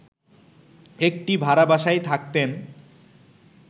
একটি ভাড়া বাসায় থাকতেন